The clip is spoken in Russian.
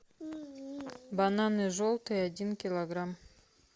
бананы желтые один килограмм